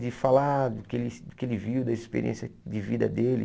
De falar do que ele do que ele viu, da experiência de vida dele.